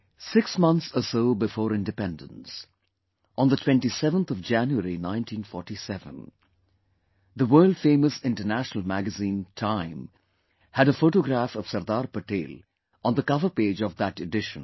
Six months or so before Independence, on the 27th of January, 1947, the world famous international Magazine 'Time' had a photograph of Sardar Patel on the cover page of that edition